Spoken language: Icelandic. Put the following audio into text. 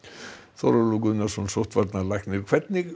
Þórólfur Guðnason sóttvarnalæknir hvernig